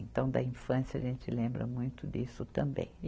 Então, da infância a gente lembra muito disso também.